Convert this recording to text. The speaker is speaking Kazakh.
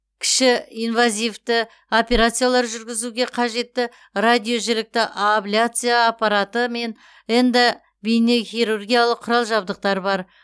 кіші инвазивті операциялар жүргізуге қажетті радиожілікті абляция аппараты мен эндобейнехирургиялық құрал жабдықтар бар